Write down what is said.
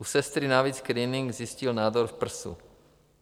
U sestry navíc screening zjistil nádor v prsu.